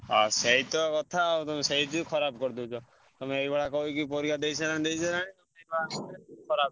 ଆ ସେଇତ କଥା ଆଉ ତମେ ସେଇ ଯୋଗୁ ଖରାପ କରି ଦଉଚ। ତମେ ଏଇ ଭଳିଆ କହିକି ପରୀକ୍ଷା ଦେଇ ସାଇଲାଣି ଦେଇ ସାଇଲାଣି ଖରାପ।